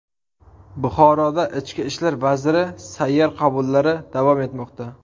Buxoroda Ichki ishlar vaziri sayyor qabullari davom etmoqda.